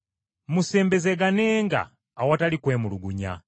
Musembezeganenga awatali kwemulugunya.